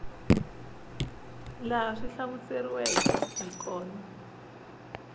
laha swi hlamuseriweke hi kona